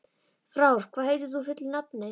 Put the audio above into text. Frár, hvað heitir þú fullu nafni?